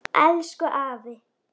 Elsku afi.